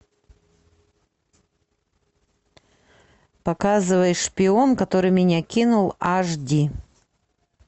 показывай шпион который меня кинул аш ди